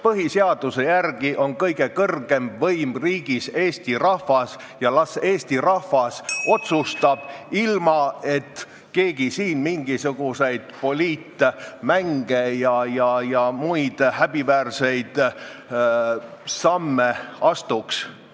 Põhiseaduse järgi on kõige kõrgem võim riigis Eesti rahvas ja las Eesti rahvas otsustab, ilma et keegi siin mingisuguseid poliitmänge ja muid häbiväärseid samme astuks.